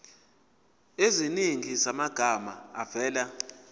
eziningi zamagama avela